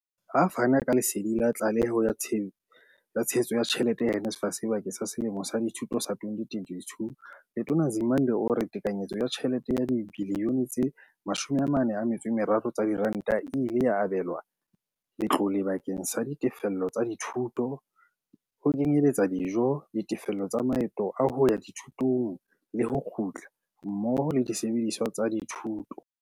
Ha a fana ka lesedi la tlaleho ya tshehetso ya tjhelete ya NSFAS bakeng sa selemo sa dithuto sa 2022, Letona Nzimande o re tekanyetso ya tjhelete ya dibiliyone tse 43 tsa diranta e ile ya abelwa letlole bakeng sa ditefello tsa dithuto, ho kenyeletsa dijo, ditefello tsa maeto a hoya dithutong le ho kgutla, mmoho le disebediswa tsa thuto.